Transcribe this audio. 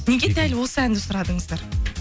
неге дәл осы әнді сұрадыңыздар